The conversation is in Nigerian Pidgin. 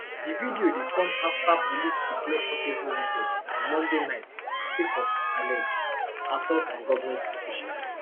di video dey come afta police declare portable wanted on monday night sake of allege assault on govment officials